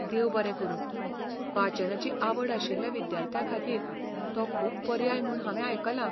देव बरें करूं, वाचनाची आवड आशिल्ल्या विद्यार्थ्यांखातीर तो खूब पर्याय म्हूण हांवें आयकलां.